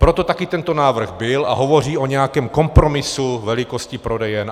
Proto taky tento návrh byl a hovoří o nějakém kompromisu velikosti prodejen.